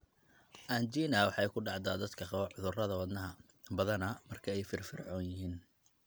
Angina waxay ku dhacdaa dadka qaba cudurrada wadnaha, badanaa marka ay firfircoon yihiin.